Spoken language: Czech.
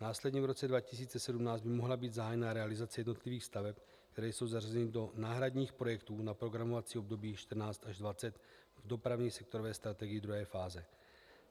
Následně v roce 2017 by mohla být zahájena realizace jednotlivých staveb, které jsou zařazeny do náhradních projektů na programovací období 14 až 20 v dopravní sektorové strategii druhé fáze.